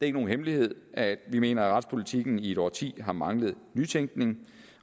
er nogen hemmelighed at vi mener at retspolitikken i et årti har manglet nytænkning